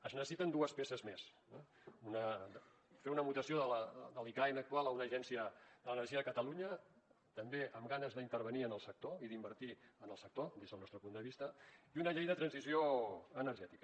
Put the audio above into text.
es necessiten dues peces més fer una mutació de l’icaen actual a una agència de l’energia de catalunya també amb ganes d’intervenir en el sector i d’invertir en el sector des del nostre punt de vista i una llei de transició energètica